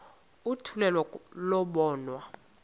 oluthethwa kuyo lobonwa